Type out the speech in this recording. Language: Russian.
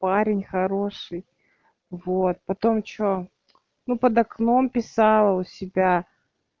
парень хороший вот потом что ну под окном писал у себя